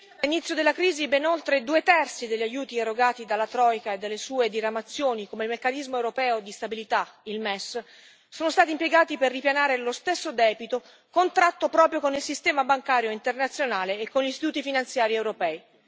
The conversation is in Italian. Signor Presidente, onorevoli colleghi, dall'inizio della crisi ben oltre due terzi degli aiuti erogati dalla troika e dalle sue diramazioni, come il Meccanismo europeo di stabilità sono stati impiegati per ripianare lo stesso debito contratto proprio con il sistema bancario internazionale e con gli istituti finanziari europei.